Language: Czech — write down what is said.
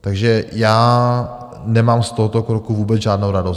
Takže já nemám z tohoto kroku vůbec žádnou radost.